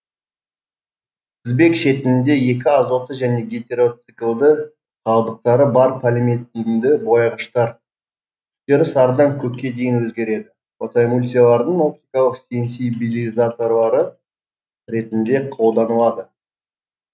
тізбек шетінде екі азоты және гетероциклді қалдықтары бар полиметинді бояғыштар түстері сарыдан көкке дейін өзгереді фотоэмульсиялардың оптикалық сенсибилизаторлары ретінде қолданылады